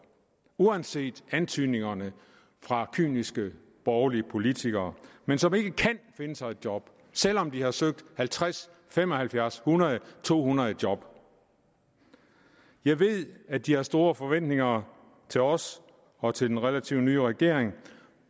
uanset antydningerne fra kyniske borgerlige politikere men som ikke kan finde sig et job selv om de har søgt halvtreds fem og halvfjerds hundrede to hundrede job jeg ved at de har store forventninger til os og til den relativt nye regering